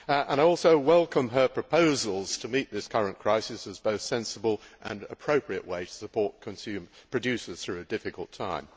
I also welcome her proposals to meet this current crisis as a sensible and appropriate way to support producers through a difficult time.